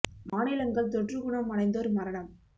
மாநிலங்கள் தொற்று குணம் அடைந்தோர் மரணம்